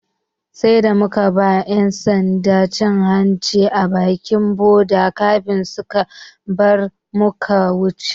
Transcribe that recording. Sai da muka ba 'yan sanda cin hanci a bakin boda kafin suka bari muka wuce.